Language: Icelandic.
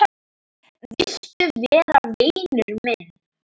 Viltu vera vinur minn?